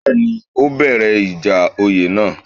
Bẹ́ẹ̀ni, ó bẹ̀rẹ̀ ìjà oyè náà